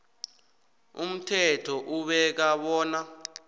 umthetho ubeka bona